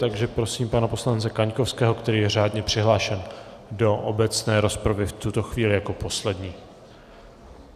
Takže prosím pana poslance Kaňkovského, který je řádně přihlášen do obecné rozpravy, v tuto chvíli jako poslední.